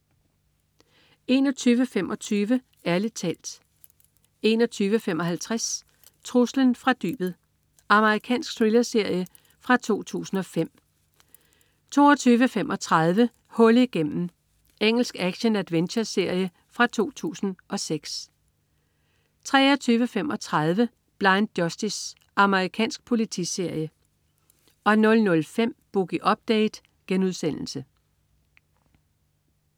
21.25 Ærlig talt 21.55 Truslen fra dybet. Amerikansk thrillerserie fra 2005 22.35 Hul igennem. Engelsk action-adventureserie fra 2006 23.25 Blind Justice. Amerikansk politiserie 00.05 Boogie Update*